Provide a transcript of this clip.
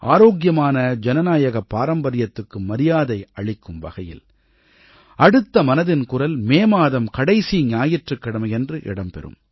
ஆரோக்கியமான ஜனநாயக பாரம்பரியத்துக்கு மரியாதை அளிக்கும் வகையில் அடுத்த மனதின் குரல் மே மாதம் கடைசி ஞாயிற்றுக்கிழமையன்று இடம் பெறும்